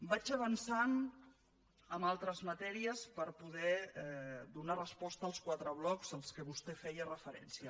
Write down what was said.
vaig avançant en altres matèries per poder donar resposta als quatre blocs a què vostè feia referència